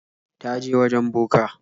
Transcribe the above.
Ta je wajen boka.